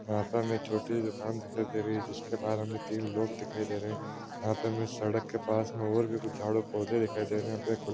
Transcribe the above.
यहाँ पे हमें एक छोटी दुकान दिखाई दे रही है जिसके बाहर हमें तीन लोग दिखाई रहे हैं यहाँ पे हमें सड़क के पास में और भी कुछ झाड़ और पौधे दिखाई दे रहे हैं --